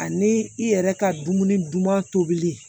Ani i yɛrɛ ka dumuni duman tobi